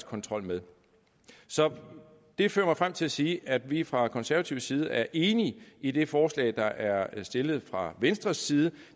kontrol med så det fører mig frem til at sige at vi fra konservativ side er enige i det forslag der er stillet fra venstres side